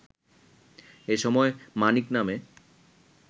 এসময় মানিক নামে